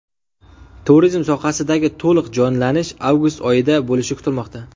Turizm sohasidagi to‘liq jonlanish avgust oyida bo‘lishi kutilmoqda.